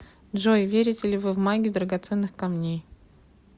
джой верите ли вы в магию драгоценных камней